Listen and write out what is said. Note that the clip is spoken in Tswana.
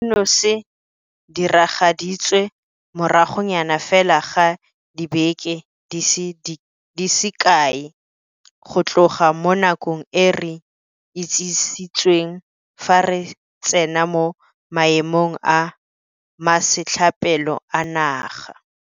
Seno se diragaditswe moragonyana fela ga dibeke di se kae go tloga mo nakong e re itsisitsweng fa re tsena mo Maemong a Masetlapelo a Naga.